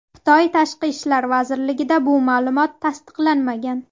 Xitoy Tashqi ishlar vazirligida bu ma’lumot tasdiqlanmagan.